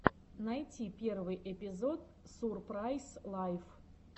найти первый эпизод сурпрайз лайф